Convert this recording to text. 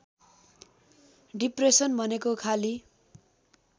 depression भनेको खाली